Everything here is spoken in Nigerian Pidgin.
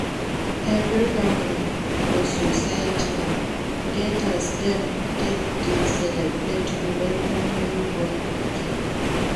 Every family or society get as dem take de celebrate or welcome newborn pikin